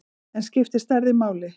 En skiptir stærðin máli?